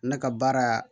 Ne ka baara